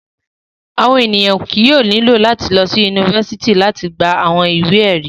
Awọn eniyan kii yóò nilo lati lọsi unifásitì lati gba awọn iwe-ẹri.